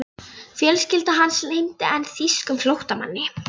Fjölskylda hans leyndi enn þýskum flóttamanni.